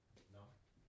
Nåh